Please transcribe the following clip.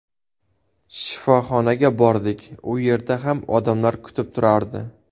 Shifoxonaga bordik, u yerda ham odamlar kutib turardi.